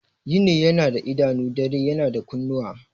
Yini yana da idanu, dare yana da kunnuwa.